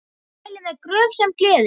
Mæli með Gröf sem gleður.